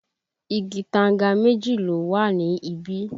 Igi tanga méjì ló wà ní bí?